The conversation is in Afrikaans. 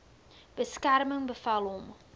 beskerming bevel hom